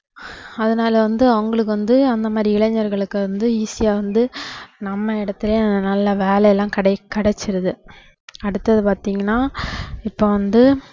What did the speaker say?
அஹ் அதனால வந்து அவங்களுக்கு வந்து அந்த மாதிரி இளைஞர்களுக்கு வந்து easy ஆ வந்து நம்ம இடத்துலேயே நல்ல வேலை எல்லாம் கிடை~ கிடைச்சுடுது அடுத்தது பாத்திங்கன்னா இப்போ வந்து